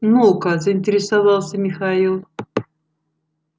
ну-ка заинтересовался михаил